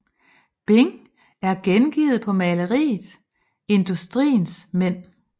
Bing er gengivet på maleriet Industriens Mænd